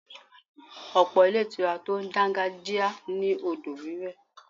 Ọ̀pọ̀ ilé ìtura tó dangajia ní odò wiwe.